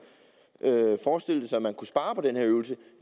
forestiller sig at man kunne spare på den her øvelse